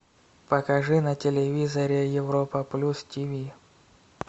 покажи на телевизоре европа плюс тиви